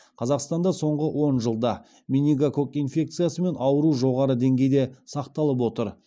қазақстанда соңғы он жылда менингококк инфекциясымен ауыру жоғары деңгейде сақталып отыр